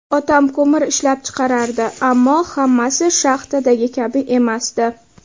Otam ko‘mir ishlab chiqarardi, ammo hammasi shaxtadagi kabi emasdi.